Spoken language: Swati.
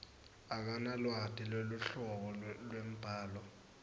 akanalwati lweluhlobo lwembhalo